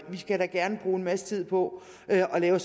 vi skal da gerne bruge en masse tid på at lave